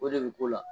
O de bɛ k'o la